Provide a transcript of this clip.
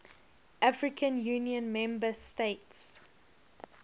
african union member states